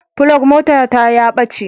Flug motata ya ɓace.